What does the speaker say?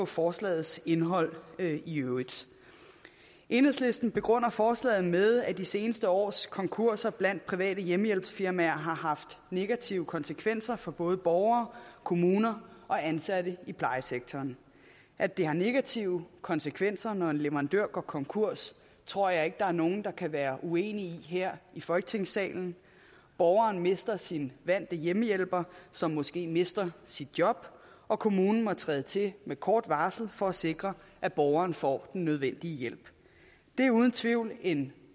forslagets indhold iøvrigt enhedslisten begrunder forslaget med at de seneste års konkurser blandt private hjemmehjælpsfirmaer har haft negative konsekvenser for både borgere kommuner og ansatte i plejesektoren at det har negative konsekvenser når en leverandør går konkurs tror jeg ikke der er nogen der kan være uenige i her i folketingssalen borgeren mister sin vante hjemmehjælper som måske mister sit job og kommunen må træde til med kort varsel for at sikre at borgeren får den nødvendige hjælp det er uden tvivl en